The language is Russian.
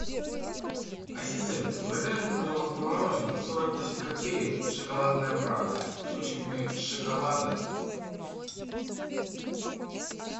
ассистент закажи мне пожалуйста мороженое сорок восемь копеек шоколадная прага с кусочками шоколада